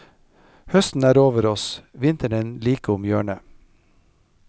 Høsten er over oss, vinteren like om hjørnet.